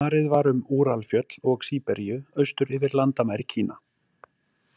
Farið var um Úralfjöll og Síberíu austur yfir landamæri Kína.